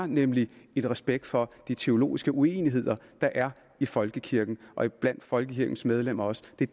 nemlig en respekt for de teologiske uenigheder der er i folkekirken og blandt folkekirkens medlemmer også det